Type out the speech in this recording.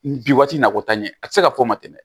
Bi waati nako ta in a ti se ka fɔ ka tɛmɛ